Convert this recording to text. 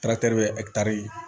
bɛ ɛkitari